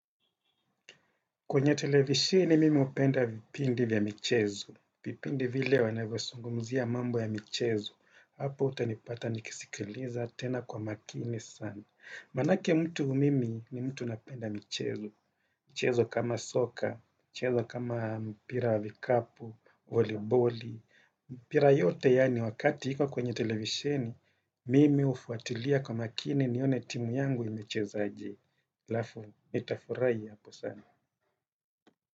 Kwenye televishini mimi hupenda vipindi vya michezo. Vipindi vile wanavyosungumzia mambo ya michezo. Hapo utanipata nikisikiliza tena kwa makini sana. Manake mtu mimi ni mtu napenda michezo. Michezo kama soka, michezo kama mpira wa vikapu, voliboli. Mpira yote yani wakati iko kwenye televisheni mimi hufuatilia kwa makini nione timu yangu imechezaje. Halafu, nitafurahi hapo sana.